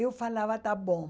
Eu falava, está bom.